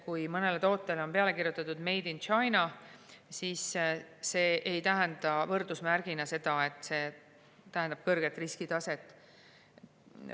Kui mõnele tootele on peale kirjutatud Made in China, siis see ei tähenda võrdusmärgina kõrget riskitaset.